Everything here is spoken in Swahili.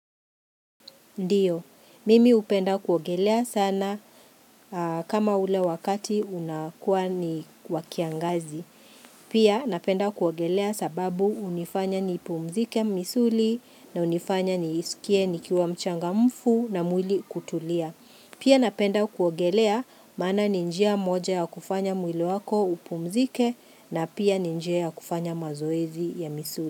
Ndiyo, mimi hupenda kuogelea sana kama ule wakati unakuwa ni wa kiangazi. Pia napenda kuogelea sababu hunifanya nipumzike misuli na hunifanya niskie nikiwa mchangamfu na mwili kutulia. Pia napenda kuogelea maana ni njia moja ya kufanya mwili wako upumzike na pia ni njia ya kufanya mazoezi ya misuli.